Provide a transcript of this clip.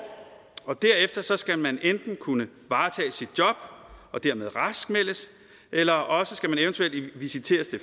og derefter skal man enten kunne varetage sit job og dermed raskmeldes eller også skal man eventuelt visiteres